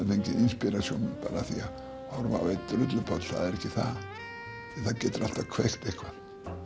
inspiration bara af því að horfa á einn drullupoll það er ekki það það getur alltaf kveikt eitthvað